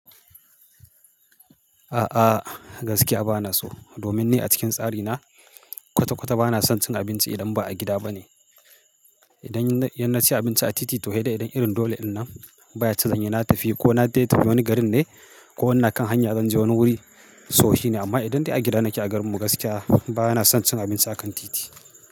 A'a, gaskiya ba na so. Domin ni a cikin tsari na, kwata-kwata ba na son cin abinci idan ba'a gida ba ne. Idan, inna ci abinci a titi toh sai dai idan irin dole ɗinna, baya cizon yana tafi ko na je wani garin ne ko wani akan hanya zan je wani wuri so, shi ne. Amma idan dai a gida nake a garin mu, gaskiya ba na son cin abinci a kan titi.